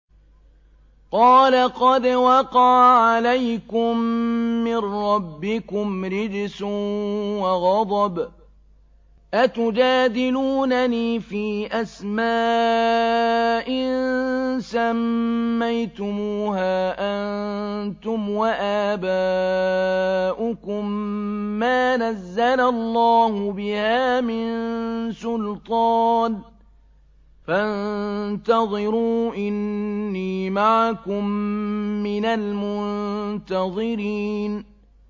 قَالَ قَدْ وَقَعَ عَلَيْكُم مِّن رَّبِّكُمْ رِجْسٌ وَغَضَبٌ ۖ أَتُجَادِلُونَنِي فِي أَسْمَاءٍ سَمَّيْتُمُوهَا أَنتُمْ وَآبَاؤُكُم مَّا نَزَّلَ اللَّهُ بِهَا مِن سُلْطَانٍ ۚ فَانتَظِرُوا إِنِّي مَعَكُم مِّنَ الْمُنتَظِرِينَ